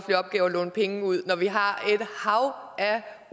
vi opgiver at låne penge ud når vi har et hav af